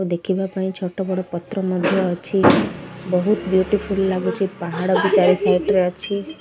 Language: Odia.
ଦେଖିବା ପାଇଁ ଛୋଟ ବଡ଼ ପତ୍ର ମଧ୍ୟ ଅଛି। ବୋହୁତ ବିୟୁଟିଫୁଲ୍ ଲାଗୁଚି ପାହାଡ଼ ବି ଚାରି ସାଇଟ୍ ରେ ଅଛି।